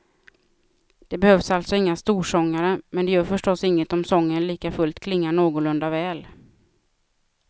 Det behövs alltså inga storsångare, men det gör förstås inget om sången likafullt klingar någorlunda väl.